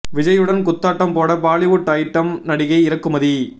விஜய்யுடன் குத்தாட்டம் போட பாலிவுட் அயிட்டம் நடிகை இறக்குமதி